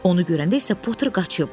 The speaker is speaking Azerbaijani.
Onu görəndə isə Potter qaçıb.